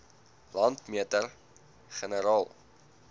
landmeter generaal